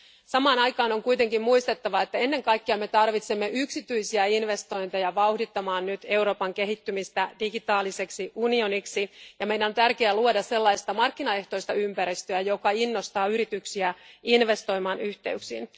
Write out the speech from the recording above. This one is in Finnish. Samaan aikaan on kuitenkin muistettava, että me tarvitsemme ennen kaikkea yksityisiä investointeja vauhdittamaan nyt Euroopan kehittymistä digitaaliseksi unioniksi, ja meidän on tärkeää luoda sellaista markkinaehtoista ympäristöä, joka innostaa yrityksiä investoimaan yhteyksiin.